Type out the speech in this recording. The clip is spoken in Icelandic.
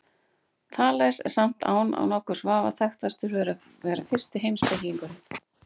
Þales er samt án nokkurs vafa þekktastur fyrir að vera fyrsti heimspekingurinn.